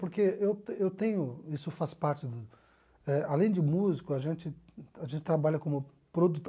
Porque eu eu tenho isso faz parte do... Eh além de músico, a gente a gente trabalha como